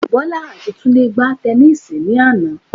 Bọ́lá àti Túndé gbá tẹnísíì ní àná